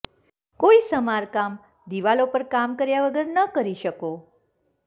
કોઈ સમારકામ દિવાલો પર કામ કર્યા વગર ન કરી શકો